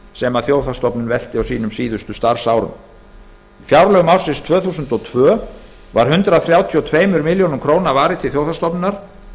sem þjóðhagsstofnun velti á sínum síðustu starfsárum á fjárlögum ársins tvö þúsund og tvö var hundrað þrjátíu og tvær milljónir króna varið til þjóðhagsstofnunar